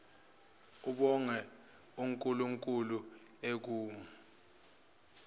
abonge unkulunkulu ekum